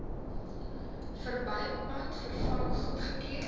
verbypad vervang goedgekeur